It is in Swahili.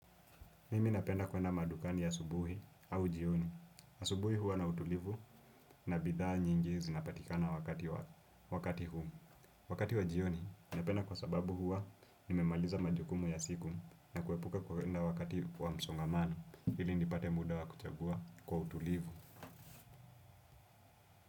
Mimi napenda kwenda madukani asubuhi au jioni. Asubuhi huwa na utulivu na bidhaa nyingi zinapatikana wakati huu. Wakati wa jioni, napenda kwa sababu huwa nimemaliza majukumu ya siku na kuepuka kuenda wakati wa msongamano. Ili nipate muda wa kuchagua kwa utulivu.